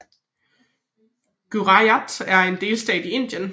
Gujarat er en delstat i Indien